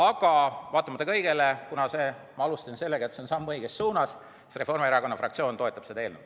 Aga vaatamata kõigele, kuna see on samm õiges suunas, Reformierakonna fraktsioon toetab seda eelnõu.